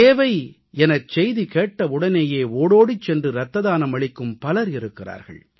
தேவை எனச் செய்தி கேட்டவுடனேயே ஓடோடிச் சென்று ரத்த தானம் அளிக்கும் பலர் இருக்கிறார்கள்